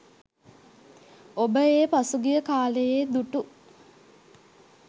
ඔබ ඒ පසුගිය කාලයේ දුටු